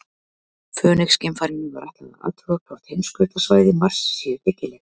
Fönix-geimfarinu var ætlað að athuga hvort heimskautasvæði Mars séu byggileg.